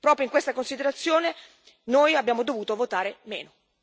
Proprio in questa considerazione, noi abbiamo dovuto votare meno.